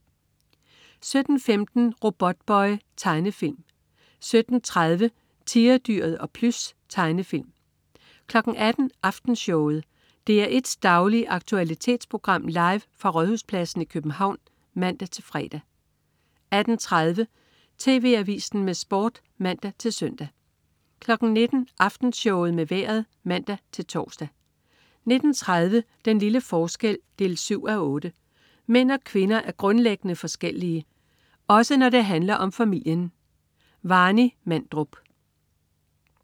17.15 Robotboy. Tegnefilm 17.30 Tigerdyret og Plys. Tegnefilm 18.00 Aftenshowet. DR1s daglige aktualitetsprogram, live fra Rådhuspladsen i København (man-fre) 18.30 TV Avisen med Sport (man-søn) 19.00 Aftenshowet med Vejret (man-tors) 19.30 Den lille forskel 7:8. Mænd og kvinder er grundlæggende forskellige. Også når det handler om familien. Warny Mandrup